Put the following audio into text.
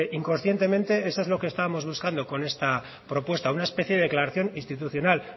inconscientemente eso es lo que estábamos buscando con esta propuesta una especie de declaración institucional